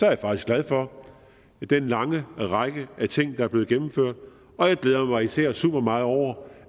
jeg faktisk glad for den lange række af ting der er blevet gennemført og jeg glæder mig især super meget over